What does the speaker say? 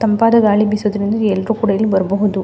ತಂಪಾದ ಗಾಳಿ ಬಿಸುವುದರಿಂದ ಎಲ್ಲರು ಕೂಡ ಇಲ್ಲ ಬರಬಹುದು.